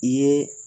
I ye